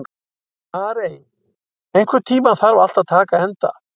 Arey, einhvern tímann þarf allt að taka enda.